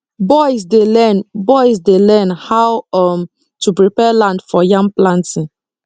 boys dey learn boys dey learn how um to prepare land for yam planting